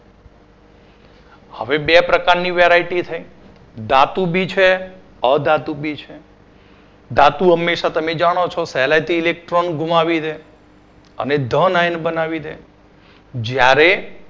હવે બે પ્રકારની variety છે. ધાતુ B છે અધાતુ B છે ધાતુ હંમેશા તમે જાણો છો સહેલાઈથી electon ઘુમાવી દે છે. અને the nine બનાવી દે જ્યારે